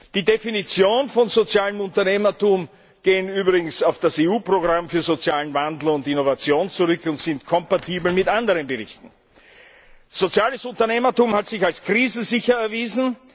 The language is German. Die Definitionen von sozialem Unternehmertum gehen übrigens auf das EU Programm für sozialen Wandel und Innovation zurück und sind kompatibel mit anderen Berichten. Soziales Unternehmertum hat sich als krisensicher erwiesen.